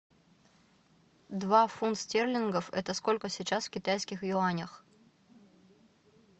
два фунта стерлингов это сколько сейчас в китайских юанях